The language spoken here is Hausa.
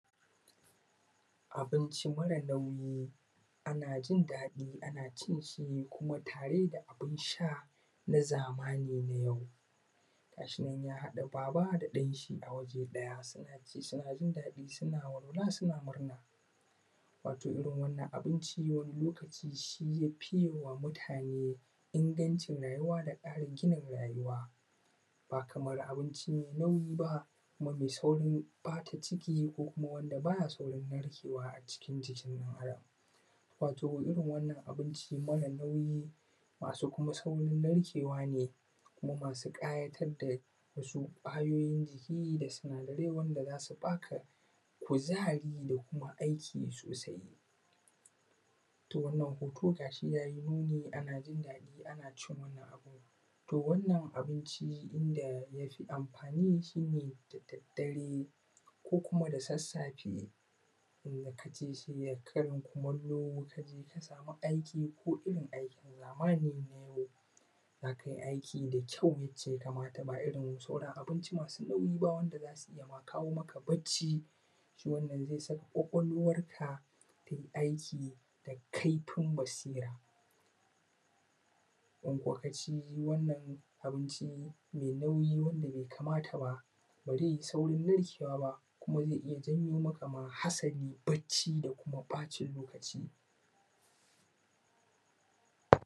Abincin ƙwadan dambu ana jin daɗi ana cin shi kuma tare da abun sha na zamani. Ga shi nan ya haɗa baba da ɗan shi waje ɗaya suna ci suna jin daɗi suna walwala suna murna. Wato irin wannan abinci wani lokaci shi ya fiye wa mutane inganci rayuwa da ƙarin gina rayuwa. Ba kamar abinci mai nauyi ba kuma mai saurin ɓata ciki ko: kuma wanda ba ya saurin narkewa a cikin jikin ɗan Adam. Wato irin wannan abinci mara nauyi kuma masu saurin narkewa ne kuma masu ƙayatarwa da ƙwayoyin da za su ba ka kuzari da kuma aiki sosai. To wannan hoto ga shi ya yi nuni ana jin daɗi ana cin wani abu. To wannan abinci inda ya fi amfani shi ne da dadare ko kuma da sassafe in ka ci a karin kumallo ka je sama aiki ko irin zamani na yau za aka yi aiki da ƙyau yadda ya kamata ba kamar da sauran abinci masu nauyi ba yadda kawo maka bacci. Wannan zai sa ƙwaƙwalwarka za ta yi aiki da kaifin basira in kuwa ka ci wannan abinci mai nauyi wanda bai kamata ba ba zai saurin narkewa ba zai iya janyo maka ma hasali bacci da kuma ɓacin lokaci.